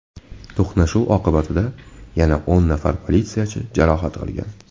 To‘qnashuv oqibatida yana o‘n nafar politsiyachi jarohat olgan.